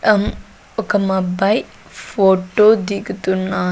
అం ఒక మబ్బాయ్ ఫోటో దిగుతున్నా--